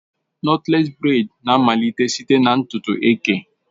Nọtlés breị́d na-amalite site na ntutu eke